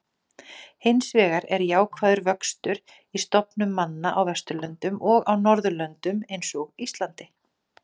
Hinsvegar er jákvæður vöxtur í stofnum manna á Vesturlöndum og á Norðurlöndum eins og Íslandi.